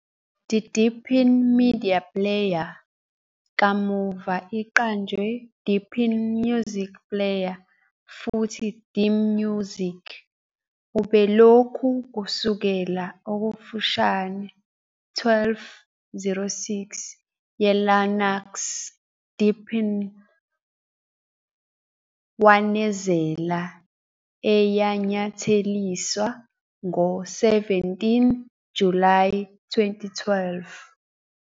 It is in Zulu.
The Deepin Media Player, kamuva iqanjwa Deepin Music Player futhi DMusic, ubelokhu kusukela okufushane 12.06 ye Linux Deepin wanezela, eyanyatheliswa ngo- 17 July 2012.